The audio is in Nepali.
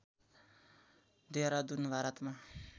देहरादुन भारतमा